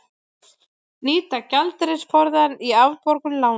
Nýta gjaldeyrisforðann í afborgun lána